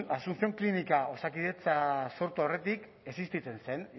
asuncion klinika osakidetza sortu aurretik existitzen zen